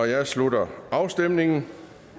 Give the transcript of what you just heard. jeg slutter afstemningen